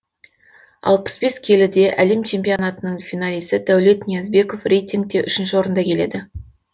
алпыс бес келіде әлем чемпионатының финалисі дәулет ниязбеков рейтингте үшінші орында келеді